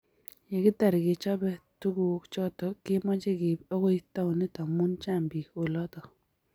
Yekitar kechob tukuk choto komache keib akoi taonit amu chang bik oloto